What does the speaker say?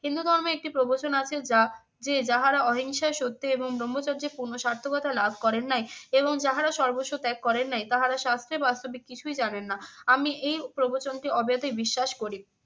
হিন্দু ধর্মে একটি প্রবচন আছে যা যে যাহারা অহিংসায় সত্যে এবং ব্রহ্মচর্যে পূর্ণ সার্থকতা লাভ করেন নাই এবং যাহারা সর্বস্ব ত্যাগ করেন নাই তাহারা শাস্ত্রে বাস্তবিক কিছুই জানেন না। আমি এই প্রবচনটি অবেধে বিশ্বাস করি।